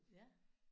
Ja